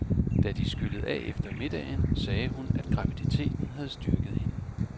Da de skyllede af efter middagen sagde hun, at graviditeten havde styrket hende.